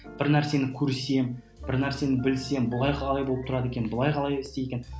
бір нәрсені көрсем бір нәрсені білсем былай қалай болып тұрады екен былай қалай істейді екен